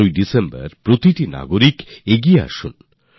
আর ৭ ডিসেম্বরে প্রত্যেক নাগরিককে এগিয়ে আসতে হবে